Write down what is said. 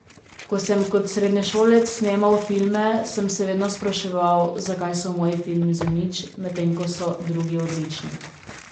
Ko sem kot srednješolec snemal filme, sem se vedno spraševal, zakaj so moji filmi zanič, medtem ko so drugi odlični.